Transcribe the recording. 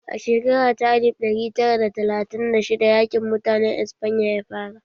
A shekara ta alif ɗari tara da talatin da shidda yaƙin mutanen Espanya ya fara